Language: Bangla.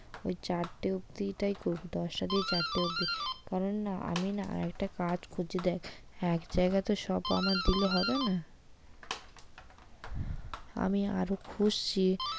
ওই চারটে অব্দি টাই করবো দশটা থেকে চারটে অব্দি কারন আমিনা আর একটা কাজ খুঁজছি দেখ এক জায়গায় তো সব আমার দিলে হবে না আমি আরও খুঁজছি।